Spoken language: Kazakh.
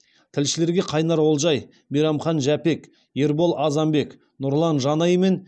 тілшілерге қайнар олжай мейрамхан жәпек ербол азанбек нұрлан жанай мен